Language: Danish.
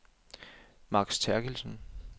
Max Therkildsen